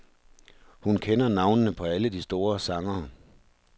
Hun kender navnene på alle de store sangere.